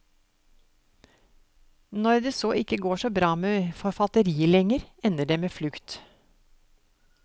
Når det så ikke går så bra med forfatteriet lenger, ender det med flukt.